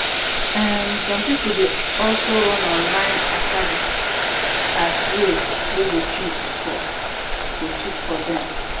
um som pipol dey also run online acada as way wey go cheap for go cheap for dem